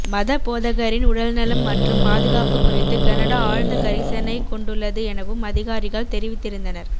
மதபோதகரின் உடல்நலம் மற்றும் பாதுகாப்பு குறித்து கனடா ஆழ்ந்த கரிசனை கொண்டுள்ளது எனவும் அதிகாரிகள் தெரிவித்திருந்தனர்